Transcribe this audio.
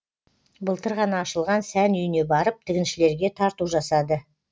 былтыр ғана ашылған сән үйіне барып тігіншілерге тарту жасады